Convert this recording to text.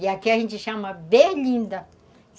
E aqui a gente chama berlinda.